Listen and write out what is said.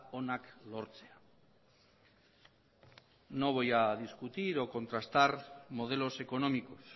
onak lortzea no voy a discutir o contrastar modelos económicos